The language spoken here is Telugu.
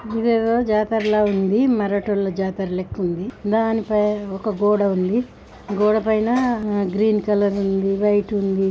ఇదేదో జాతరలా ఉంది.మరాఠోల్ల జాతర లెక్క ఉంది. దానిపైన ఒక గోడ ఉంది.గోడపైన గ్రీన్ కలర్ ఉంది. వైట్ ఉంది.